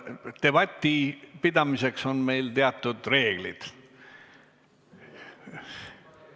Debati pidamiseks on meil teatud reeglid.